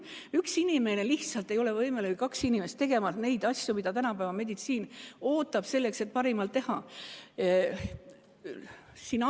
Üks inimene lihtsalt ei ole võimeline, või ka kaks inimest, tegema neid asju, mida tänapäeva meditsiinilt oodatakse, selleks et parimat saada.